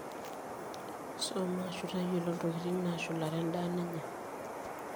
soma aashu tayiolo intokitin naashulare endaa ninya